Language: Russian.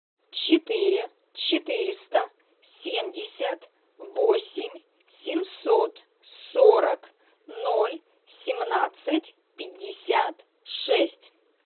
четыре четыреста семьдесят восемь семьсот сорок ноль семнадцать пятьдесят шесть